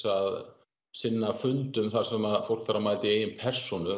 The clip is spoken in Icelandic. að sinna fundum þar sem fólk þarf að mæta í eigin persónu